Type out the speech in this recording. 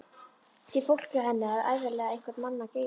Því fólk hjá henni hafði ævinlega einhvern mann að geyma.